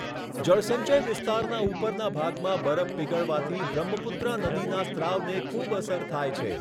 જળસંચય વિસ્તારનાં ઉપરના ભાગમાં બરફ પીગળવાથી બ્રહ્મપુત્રા નદીના સ્રાવને ખૂબ અસર થાય છે.